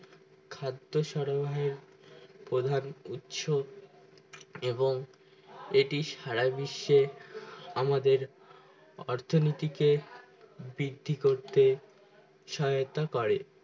খাদ্য সরোবহের প্রধান উৎস এবং এটি সারা বিশ্বে আমাদের অর্থনটিকে বৃদ্ধি করতে সহায়তা করে